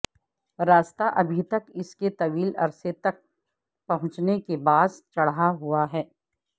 راستہ ابھی تک اس کے طویل عرصے تک پہنچنے کے باعث چڑھا ہوا ہے